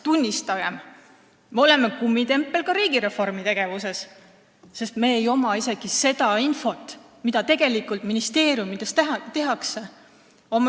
Tunnistagem: me oleme kummitempel ka riigireformi mõttes, sest meil ei ole isegi seda infot, mida ministeeriumides tegelikult tehakse.